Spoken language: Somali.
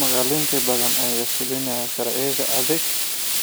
Magaalooyin badan ayaa fulinaya sharciyada aagagga